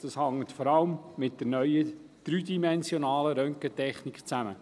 Dies hängt vor allem mit der neuen dreidimensionalen Röntgentechnik zusammen.